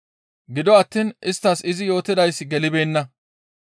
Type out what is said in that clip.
Gido attiin isttas izi yootidayssi gelibeenna.